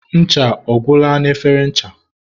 ncha ọ gwụla na efere ncha?